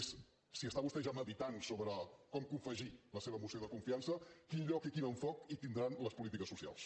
és si vostè medita ja sobre com confegir la seva moció de confiança quin lloc i quin enfocament hi tindran les polítiques socials